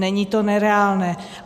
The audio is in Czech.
Není to nereálné.